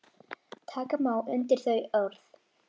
Taka má undir þau orð.